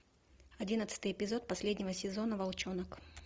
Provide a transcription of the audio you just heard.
одиннадцатый эпизод последнего сезона волчонок